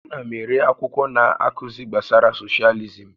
Ana m ere akwụkwọ na-akụzi gbasara socialism